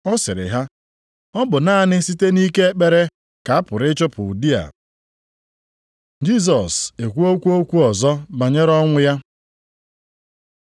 Ọ sịrị ha, “Ọ bụ naanị site nʼike ekpere ka a pụrụ ịchụpụ ụdị a.” + 9:29 Akwụkwọ ochie ndị ọzọ na-edenye, na-ibu ọnụ. Jisọs ekwuokwa okwu ọzọ banyere ọnwụ ya